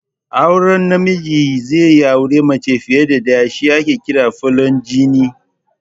Auren da namiji ze auri mace fiya da ɗaya shi ake kira 'Folijini'